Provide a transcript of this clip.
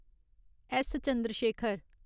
S. Chandrashekhar